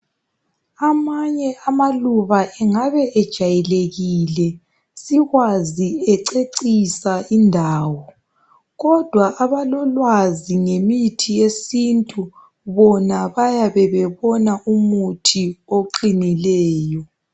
Amanye amaluba engabe ejayelekile sikwazi ececisa indawo, kodwa abalolwazi ngemithi yesintu bona bayabebebona umuthi oqinileyo.